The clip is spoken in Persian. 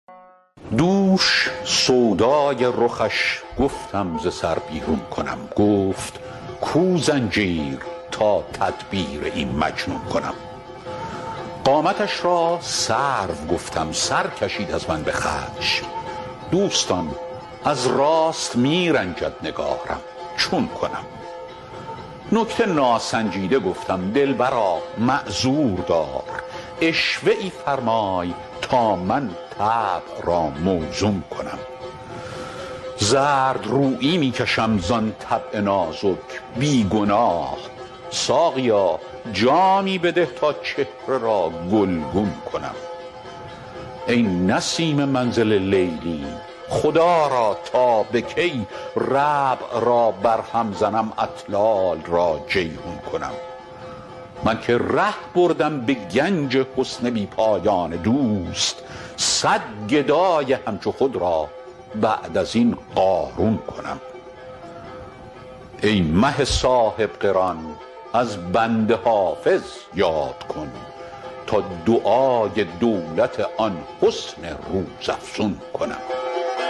دوش سودای رخش گفتم ز سر بیرون کنم گفت کو زنجیر تا تدبیر این مجنون کنم قامتش را سرو گفتم سر کشید از من به خشم دوستان از راست می رنجد نگارم چون کنم نکته ناسنجیده گفتم دلبرا معذور دار عشوه ای فرمای تا من طبع را موزون کنم زردرویی می کشم زان طبع نازک بی گناه ساقیا جامی بده تا چهره را گلگون کنم ای نسیم منزل لیلی خدا را تا به کی ربع را برهم زنم اطلال را جیحون کنم من که ره بردم به گنج حسن بی پایان دوست صد گدای همچو خود را بعد از این قارون کنم ای مه صاحب قران از بنده حافظ یاد کن تا دعای دولت آن حسن روزافزون کنم